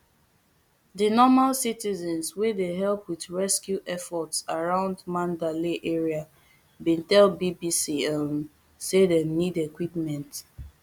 di normal citizens wey dey help wit rescue efforts around mandalay area bin tell bbc um say dem need equipment